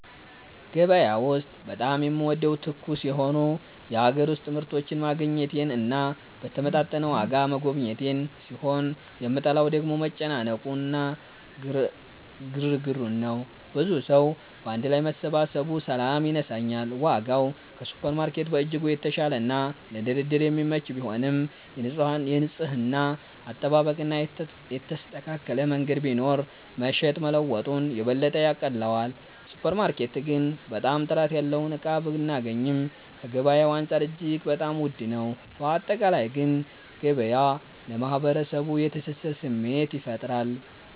ገበያ ውስጥ በጣም የምወደው ትኩስ የሆኑ የሀገር ውስጥ ምርቶችን ማግኘቴን እና በተመጣጠነ ዋጋ መገበያየቴን ሲሆን የምጠላው ደግሞ መጨናነቁ እና ግርግሩን ነው። ብዙ ሰዉ ባንድ ላይ መሰባሰቡ ሰላም ይነሳኛል። ዋጋው ከሱፐርማርኬት በእጅጉ የተሻለና ለድርድር የሚመች ቢሆንም፣ የንጽህና አጠባበቅ እና የተስተካከለ መንገድ ቢኖር መሸጥ መለወጡን የበለጠ ያቀለዋል። ሱፐር ማርኬት ግን በጣም ጥራት ያለውን እቃ ብናገኚም ከገበያዉ አንፃር እጅግ በጣም ዉድ ነው። ባጠቃላይ ግን ገበያ ለማህበረሰቡ የትስስር ስሜት ይፈጥራል።